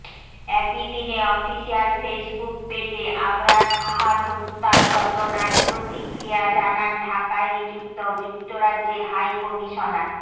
একইদিনে official Facebook পেজে আবরার ফাহাদ হত্যার ঘটনায় প্রতিক্রিয়া জানান ঢাকায় নিযুক্ত যুক্তরাজ্যের হাইকমিশনার